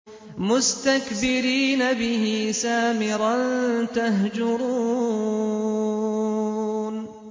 مُسْتَكْبِرِينَ بِهِ سَامِرًا تَهْجُرُونَ